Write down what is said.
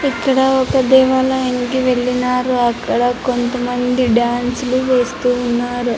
ఇక్కడ ఒక దేవాలయంకి వెళ్ళినారు. అక్కడ కొంత మంది డాన్సులు వెస్తూన్నారు.